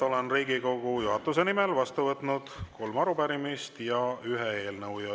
Olen Riigikogu juhatuse nimel vastu võtnud kolm arupärimist ja ühe eelnõu.